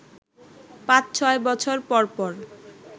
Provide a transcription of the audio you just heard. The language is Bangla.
পাঁচ-ছয় বছর পর পর